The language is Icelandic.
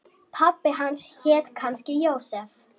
Pabbi hans hét kannski Jósef.